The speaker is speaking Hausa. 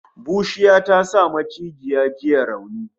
Bushiya ta sa maciji ya ji rauni